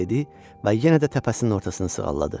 Dedi və yenə də təpəsinin ortasını sığalladı.